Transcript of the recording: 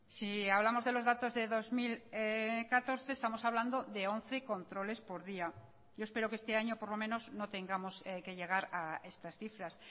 si hablamos de los datos de dos mil catorce estamos hablando de once controles por día yo espero que este año por lo menos no tengamos que llegar a estas cifras